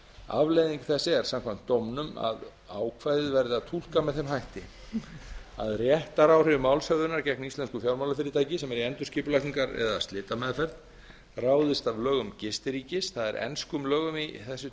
afleiðing þess er samkvæmt dómnum að ákvæðið verði að túlka með þeim hætti að réttaráhrif málshöfðunar gegn íslensku fjármálafyrirtæki sem er í endurskipulagningar eða slitameðferð ráðist af lögum gistiríkis það er enskum lögum í þessu